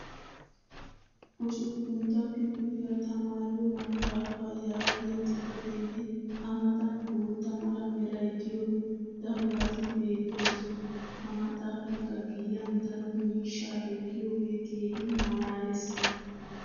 Usuppuntta kifiliya tamaariyo maxaafaa yaagiya xifateenne a matan bootta mala meray diyo darobati beetoosona. Ha maxaafaykka giyan daro miishshaa ekkiyooge keehi malaalees.